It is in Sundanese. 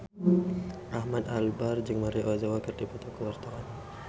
Ahmad Albar jeung Maria Ozawa keur dipoto ku wartawan